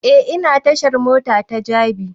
E ina tashar mota ta jabi